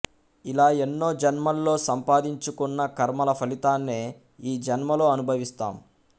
ఇలా ఎన్నో జన్మల్లో సంపాదించుకున్న కర్మల ఫలితాన్నే ఈ జన్మలో అనుభవిస్తాం